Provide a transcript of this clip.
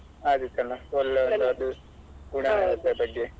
ಆದೀತಲ್ಲ ಒಳ್ಳೆ ಒಳ್ಳೇದು ಗುಣಗಳ ಬಗ್ಗೆ .